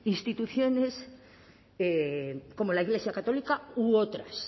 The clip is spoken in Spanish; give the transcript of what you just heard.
instituciones como la iglesia católica u otras